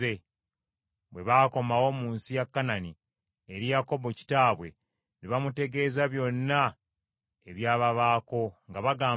Bwe baakomawo mu nsi ya Kanani eri Yakobo kitaabwe ne bamutegeeza byonna ebyababaako, nga bagamba nti,